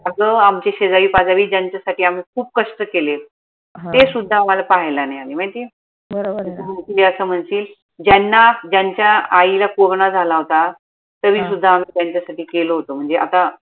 अग आमचे शेजारी पाजारी ज्यांच्यासाठी आम्ही खूप कष्ट केले ते सुद्धा आम्हाला पाहायला नाई आले माहितीय असं म्हनशील ज्यांना ज्यांच्या आईला corona झाला होता आम्ही त्यांच्यासाठी केलं होत म्हनजे आता